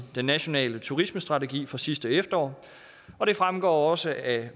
den nationale turismestrategi fra sidste efterår og det fremgår også af